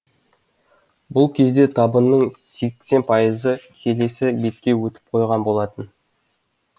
бұл кезде табынның сексен пайызы келесі бетке өтіп қойған болатын